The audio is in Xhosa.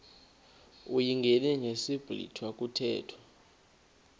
uyingene ngesiblwitha kuthethwa